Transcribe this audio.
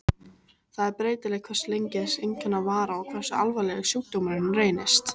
Það er breytilegt hversu lengi þessi einkenna vara og hversu alvarlegur sjúkdómurinn reynist.